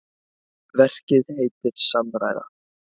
Verkið heitir Samræða.